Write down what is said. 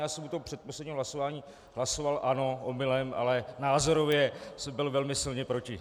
Já jsem u toho předposledního hlasování hlasoval ano", omylem, ale názorově jsem byl velmi silně proti.